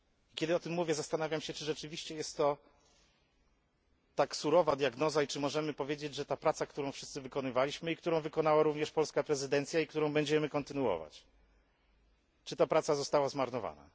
Kiedy o tym mówię, zastanawiam się, czy rzeczywiście jest to tak surowa diagnoza i czy możemy powiedzieć, że praca, którą wszyscy wykonywaliśmy, którą wykonała również polska prezydencja i którą będziemy kontynuować, została zmarnowana.